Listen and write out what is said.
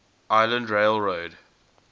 island rail road